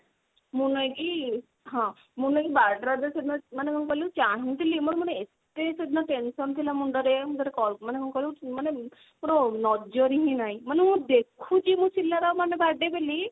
ମୁଁ ନାଇଁ କି ହଁ ମୁଁ ନା ବାର ଟା ରାତି ରେ ସେଦିନ ମାନେ କଣ କହିଲ ଚାହୁଁଥିଲି ମୋର ମାନେ ଏତେ ସେଦିନ tension ଥିଲା ମୁଣ୍ଡ ରେ ମାନେ call ମାନେ କଣ କହିଲୁ ମୋର ନଜର ହିଁ ନାହିଁ ମାନେ ମୁଁ ଦେଖୁଛି ପିଲା ର birthday ବୋଲି